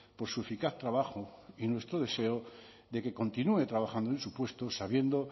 por su eficaz trabajo y nuestro deseo de que continúe trabajando en su puesto sabiendo